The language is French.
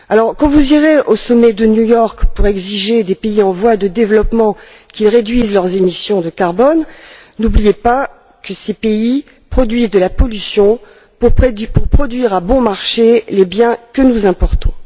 Quand vous irez au sommet de New York pour exiger des pays en voie de développement qu'ils réduisent leurs émissions de carbone, n'oubliez pas que ces pays produisent de la pollution pour produire à bon marché les biens que nous importons.